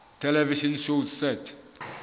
television shows set